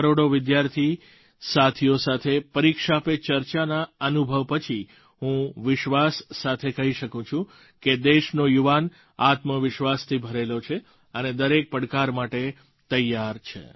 દેશના કરોડો વિદ્યાર્થી સાથીઓ સાથે પરીક્ષા પે ચર્ચાના અનુભવ પછી હું વિશ્વાસ સાથે કહી શકું છું કે દેશનો યુવાન આત્મવિશ્વાસથી ભરેલો છે અને દરેક પડકાર માટે તૈયાર છે